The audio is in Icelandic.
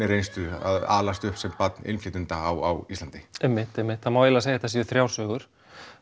reynslu að alast upp sem barn innflytjanda á Íslandi einmitt einmitt það má eiginlega segja að þetta séu þrjár sögur